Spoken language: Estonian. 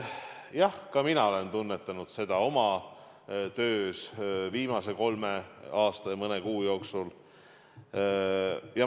Jah, ka mina olen tunnetanud seda oma töös viimase kolme aasta ja mõne kuu jooksul.